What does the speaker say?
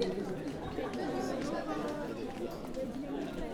Kenya waxay luminaysaa kheyraadkeeda biyaha.